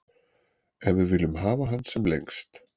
En við viljum hafa hann sem lengst.